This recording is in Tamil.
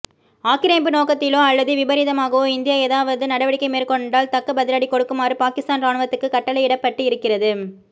ஆக்கிரமிப்பு நோக்கத்திலோ அல்லது விபரீதமாகவோ இந்தியா ஏதாவது நடவடிக்கை மேற்கொண்டால் தக்க பதிலடி கொடுக்குமாறு பாகிஸ்தான் ராணுவத்துக்கு கட்டளையிடப்பட்டு இருக்கிறது